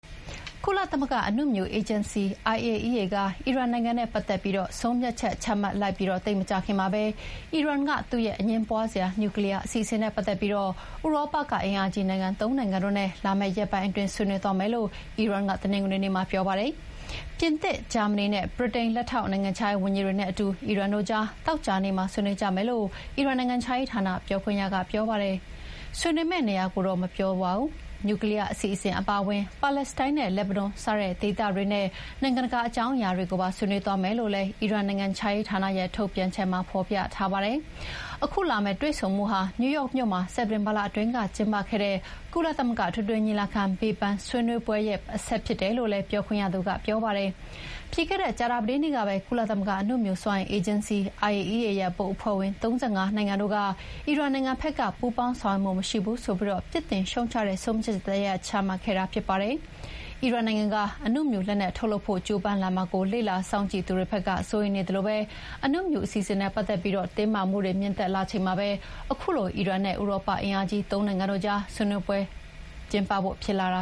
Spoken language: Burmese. ကုလသမဂ္ဂအနုမြူ အေဂျင်စီ က အီရန်နိုင်ငံနဲ့ ပတ်သက်ပြီး ဆုံးဖြတ်ချက် ချမှတ်လိုက်ပြီးသိပ်မကြာခင်မှာပဲ အီရန်က သူ့ရဲ့ အငြင်းပွားစရာ နျူးကလီးယားအစီအစဉ်နဲ့ ပတ်သက်ပြီး ဥရောပက အင်အားကြီးနိုင်ငံ ၃ နိုင်ငံနဲ့ လာမယ့်ရက်ပိုင်းအတွင်း ဆွေးနွေးမယ်လို့ အီရန်က တနင်္ဂနွေနေ့မှာပြောပါတယ်။ ပြင်သစ်၊ ဂျာမဏီနဲ့ ဗြိတိန် လက်ထောက်နိုင်ငံခြားရေးဝန်ကြီးတွေနဲ့ အီရန်တို့ကြား သောကြာနေ့မှာ ဆွေးနွေးကြမယ်လို့ အီရန်နိုင်ငံခြားရေးဌာန ပြောခွင့်ရက ဆိုပါတယ်၊ ဆွေးနွေးမယ့်နေရာကိုတော့ မပြောပါဘူး။ နျူကလီးယားအစီအစဥ်အပါအဝင် ပါလက်စတိုင်းနဲ့ လက်ဘနွန် စတဲ့ ဒေသတွင်းနဲ့ နိုင်ငံတကာအကြောင်းအရာတွေကိုပါ ဆွေးနွေးသွားမယ်လို့လည်း အီရန်နိုင်ငံခြားရေးဌာနရဲ့ ထုတ်ပြန်ချက်မှာ ဖော်ပြထားပါတယ်။ ခုလာမဲ့တွေ့ဆုံမှုဟာ နယူးယောက်မြို့မှာ စက်တင်ဘာလကကျင်းပခဲ့တဲ့ ကုလသမဂ္ဂ အထွေထွေညီလာခံဘေးပန်းဆွေးနွေးပွဲရဲ့ အဆက်ဖြစ်တယ်လို့လည်း ပြောခွင့်ရသူကပြောပါတယ်။ ပြီးခဲ့တဲ့ ကြာသပတေးနေ့ကပဲ ကုလသမဂ္ဂအနုမြူစွမ်းအင်အေဂျင်စီ IAEA ရဲ့ ဘုတ်အဖွဲ့ဝင် ၃၅ နိုင်ငံတို့က အီရန်နိုင်ငံဖက်က ပူးပေါင်းဆောင်ရွက်မှုမရှိဘူးဆိုပြီး ပြစ်တင်ရှုတ်ချတဲ့ဆုံးဖြတ်ချက်တရပ်ချမှတ်ခဲ့တာဖြစ်ပါတယ်။ အီရန်နိုင်ငံက အနုမြူလက်နက်ထုတ်လုပ်ဖို့ ကြိုးပမ်းလာမှာကို လေ့လာစောင့်ကြည့်သူတွေဖက်က စိုးရိမ်နေသလို အနုမြူအစီအစဉ်နဲ့ ပတ်သက်ပြီး တင်းမာမှုတွေ မြင့်တက်လာချိန်မှာပဲ ခုလို အီရန်နဲ့ ဥရောပအင်အားကြီး ၃ နိုင်ငံတို့ကြားဆွေးနွေးဖို့ ဖြစ်လာတ